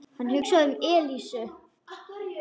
Hann hugsaði um Elísu.